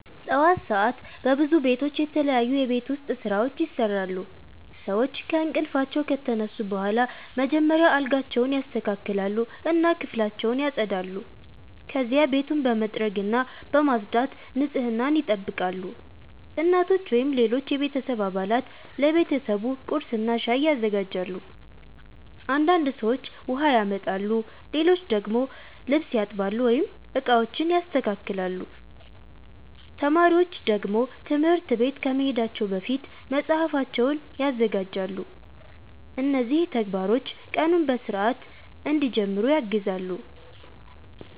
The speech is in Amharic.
ጠዋት ሰዓት በብዙ ቤቶች የተለያዩ የቤት ውስጥ ስራዎች ይሰራሉ። ሰዎች ከእንቅልፋቸው ከተነሱ በኋላ መጀመሪያ አልጋቸውን ያስተካክላሉ እና ክፍላቸውን ያጸዳሉ። ከዚያ ቤቱን በመጥረግና በማጽዳት ንጽህናን ይጠብቃሉ። እናቶች ወይም ሌሎች የቤተሰብ አባላት ለቤተሰቡ ቁርስና ሻይ ያዘጋጃሉ። አንዳንድ ሰዎች ውሃ ያመጣሉ፣ ሌሎች ደግሞ ልብስ ያጥባሉ ወይም ዕቃዎችን ያስተካክላሉ። ተማሪዎች ደግሞ ትምህርት ቤት ከመሄዳቸው በፊት መጽሐፋቸውን ያዘጋጃሉ። እነዚህ ተግባሮች ቀኑን በሥርዓት እንዲጀምሩ ያግዛሉ።